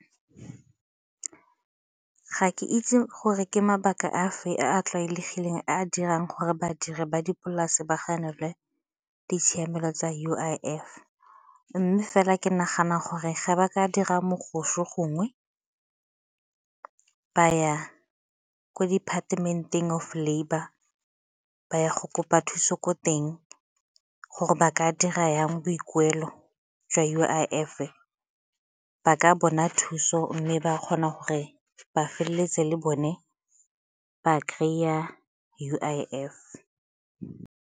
Ga ke itse gore ke mabaka a afe a a tlwaelegileng a dirang gore badiri ba dipolase ba ga nelwe ditshiamelo tsa U_I_F mme fela ke nagana gore ge ba ka dira gongwe ba ko department-eng of labour ba ya go kopa thuso ko teng gore ba ka dira jang boikuelo jwa U_I_F-e ba ka bona thuso mme ba kgona gore ba feleletse le bone ba kry-a U_I_F.